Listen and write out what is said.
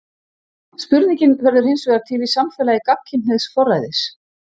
Spurningin verður hinsvegar til í samfélagi gagnkynhneigðs forræðis.